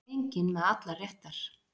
Enginn með allar réttar